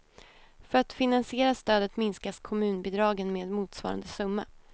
För att finansiera stödet minskas kommunbidragen med motsvarande summa.